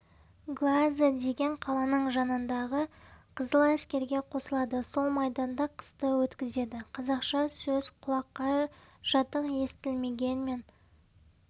глазо деген қаланың жанындағы қызыл әскерге қосылады сол майданда қысты өткізеді қазақша сөз құлаққа жатық естілмегенмен